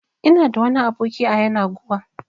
Ina da wani aboki a yanaguwa